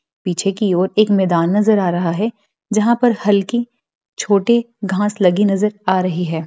पीछे की ओर एक मैदान नजर आ रहा है जहां पर हल्की छोटे घास लगे नजर आ रही है।